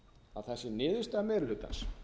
að það sé niðurstaða meiri hlutans